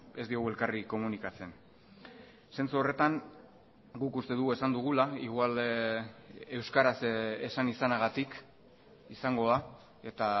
ez diogu elkarri komunikatzen zentzu horretan guk uste dugu esan dugula igual euskaraz esan izanagatik izango da eta